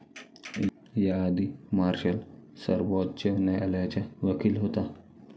याआधी मार्शल सर्वोच्च न्यायालयाचा वकील होता.